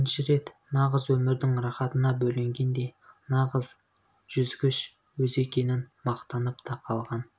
бірінші рет нағыз өмірдің рақатына бөленгендей нағыз жүзгіш өзі екенін мақтанып та қалған